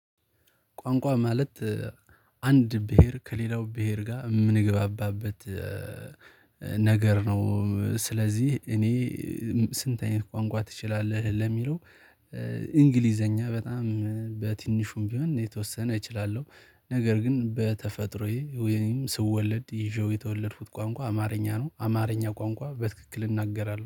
ቋንቋ ማለት አንድ ብሄር ከሌላው ብሄር ጋር የምንገባባበት ነገር ነው። ስለዚህ እኔ ስንት አይነት ቋንቋ ትችላለህ ለሚለው። እንግሊዘኛ በጣም በትንሹም ቢሆን የተወሰነ እችላለሁ ነገር ግን በተፈጥሮዬ ወይም ስወለድ ይዤው የተወለድኩት ቋንቋ አማርኛ ነው። አማርኛ ቋንቋ በትክክል እናገራለሁ